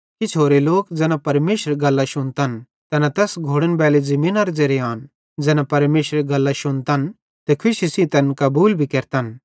किछ होरे लोक ज़ैना परमेशरेरी गल्लां शुन्तन तैना तैस घोड़नबैली ज़मीनेरे ज़ेरे आन तैना परमेशरेरी गल्लां शुन्तन त खुशी सेइं तैन कबूल भी केरतन